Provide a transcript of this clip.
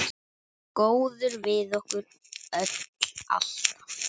Góður við okkur öll, alltaf.